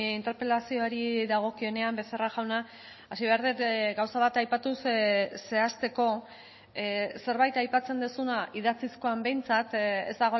interpelazioari dagokionean becerra jauna hasi behar dut gauza bat aipatuz zehazteko zerbait aipatzen duzuna idatzizkoan behintzat ez